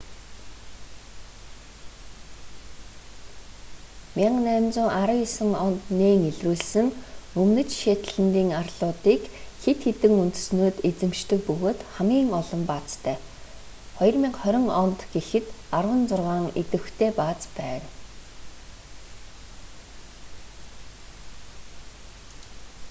1819 онд нээн илрүүлсэн өмнөд шетлэндийн арлуудыг хэд хэдэн үндэстнүүд эзэмшдэг бөгөөд хамгийн олон баазтай 2020 онд гэхэд арван зургаан идэвхтэй бааз байна